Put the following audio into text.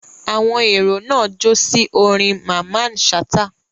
Àwọn èrò náà jó sí orin Mamman Shata.